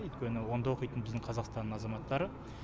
өйткені онда оқитын біздің қазақстанның азаматтары